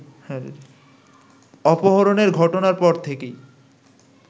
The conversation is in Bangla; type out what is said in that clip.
অপহরণের ঘটনার পর থেকেই